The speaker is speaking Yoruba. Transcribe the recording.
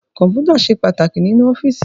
Kọ́mpútà ṣe pàtàkì nínú ọ́fíìsì